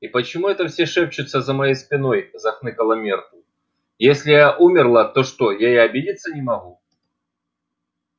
и почему это все шепчутся за моей спиной захныкала миртл если я умерла то что я и обидеться не могу